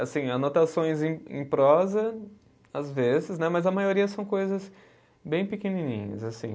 Assim anotações em em prosa, às vezes né, mas a maioria são coisas bem pequenininhas, assim.